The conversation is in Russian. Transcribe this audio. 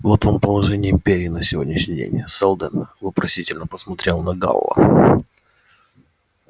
вот вам положение империи на сегодняшний день сэлдон вопросительно посмотрел на гаала